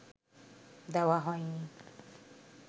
দেওয়া হয়নি